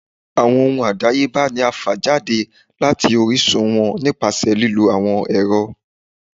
Awọn ohún adáyébá ní a fá jade latí orisun wọn nipasẹ lilo awọn ẹrọ.